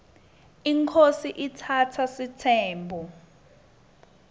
inkhosi iatsatsa sitsembu